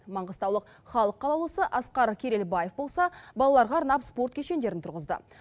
маңғыстаулық халық қалаулысы асқар керелбаев болса балаларға арнап спорт кешендерін тұрғызды